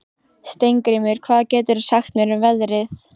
Steingrímur, hvað geturðu sagt mér um veðrið?